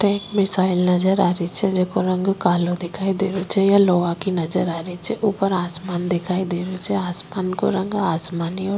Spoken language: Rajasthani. टैंक मिसाइल नज़र आ री छे जेको रंग कालो दिखाई दे रो छे यह लोहा की नजर आ छे ऊपर आसमान दिखाई देरो छे आसमान को रंग आसमानी और--